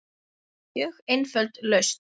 Mjög einföld lausn.